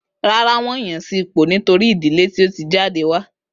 Rárá, wón yan sí ipò nítorí ìdílé tí o ti jáde wá